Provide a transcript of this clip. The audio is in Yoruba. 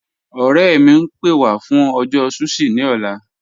Ọ̀rẹ̀ mi, ń pẹ́ wà fún ọjọ́ sushi ni ọ̀là.